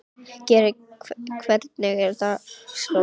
Geri, hvernig er dagskráin?